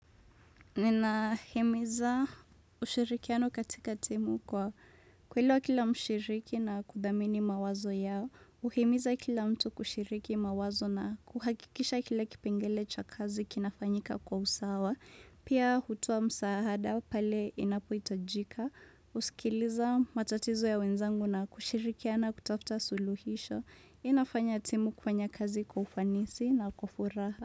Ninahimiza ushirikiano katika timu kwa kuelewa kila mshiriki na kudhamini mawazo yao. Uhimiza kila mtu kushiriki mawazo na kuhakikisha kila kipengele cha kazi kinafanyika kwa usawa. Pia hutoa msaada pale inapohitajika. Husikiliza matatizo ya wenzangu na kushirikiana kutafuta suluhisho. Inafanya timu kufanya kazi kwa ufanisi na kwa furaha.